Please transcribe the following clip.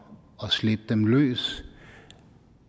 at slippe dem løs